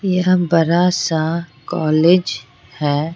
यह बरा सा कॉलेज है।